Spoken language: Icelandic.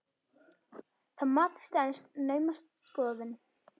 Það mat stenst naumast skoðun.